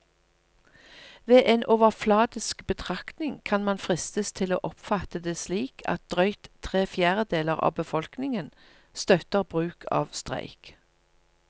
Ved en overfladisk betraktning kan man fristes til å oppfatte det slik at drøyt tre fjerdedeler av befolkningen støtter bruk av streik.